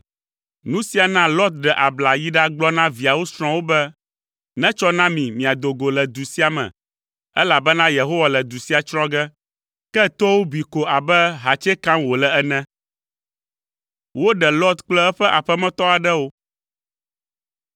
Nu sia na Lot ɖe abla yi ɖagblɔ na viawo srɔ̃wo be, “Netsɔ na mi miado go le du sia me, elabena Yehowa le du sia tsrɔ̃ ge.” Ke toawo bui ko abe ahatso kam wòle ene.